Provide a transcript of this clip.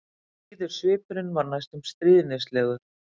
Blíður svipurinn var næstum stríðnislegur.